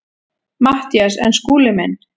MATTHÍAS: En Skúli minn.